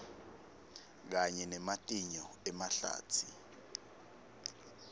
kanye nematinyo emahlatsi